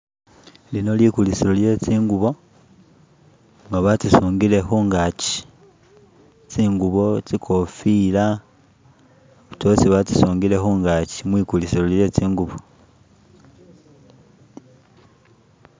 Lino likulisilo lye tsingubo nga batsisingile kungakyi tsingubo tsikofila tsosi gatsisungile kungachi mwigulisilo lye tsingubo